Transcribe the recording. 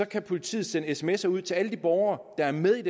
kan politiet sende sms’er ud til alle de borgere der er med i